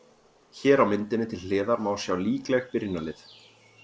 Hér á myndinni til hliðar má sjá líkleg byrjunarlið.